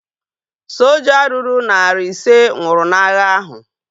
Soja ruru narị ise nwụrụ n'agha ahu